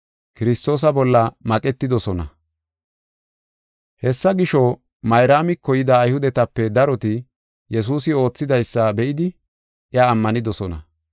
Hessa gisho, Mayraamiko yida Ayhudetape daroti Yesuusi oothidaysa be7idi iya ammanidosona.